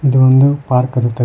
ಇದು ಒಂದು ಪಾರ್ಕ್ ಅನ್ನೋ ತರ--